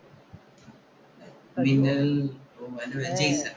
മിന്നല്‍ പേര് ജയ്സണ്‍